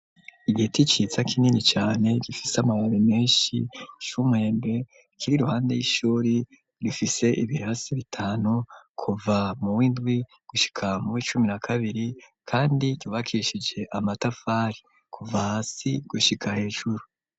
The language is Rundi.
Igiti ciza kinini cane gifise amababi menshi c’umwembe kiri iruhande y'ishuri rifise ibirasi bitanu kuva mu w’ indwi gushika mu w’icumi na kabiri kandi ryubakishije amatafari kuva hasi gushika hejuru.